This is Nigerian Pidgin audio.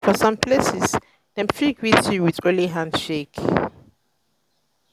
for some places dem fit greet you with only handshake